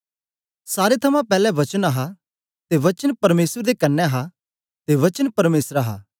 सारे थमां पैले वचन हा ते वचन परमेसर दे कन्ने हा ते वचन परमेसर हा